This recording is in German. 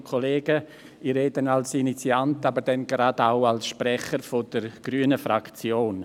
Ich spreche als Initiant, aber auch gleich auch als Sprecher der grünen Fraktion.